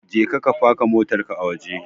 Je ka faka motar ka a waje!